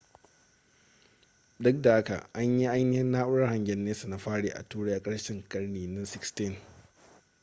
duk da haka an yi ainihin na'urar hangen nesa na fari a turai a karshen karni na 16